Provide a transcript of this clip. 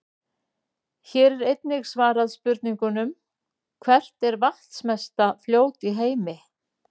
Hér er einnig svarað spurningunum: Hvert er vatnsmesta fljót í heimi?